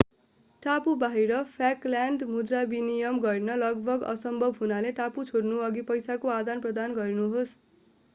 टापु बाहिर फाल्कल्यान्ड मुद्रा विनिमय गर्न लगभग असम्भव हुनाले टापु छोड्नअघि पैसाको आदान प्रदान गर्नुहोस्